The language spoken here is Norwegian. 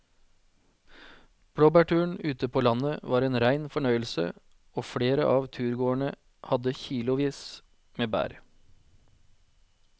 Blåbærturen ute på landet var en rein fornøyelse og flere av turgåerene hadde kilosvis med bær.